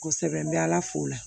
Kosɛbɛ n bɛ ala fo la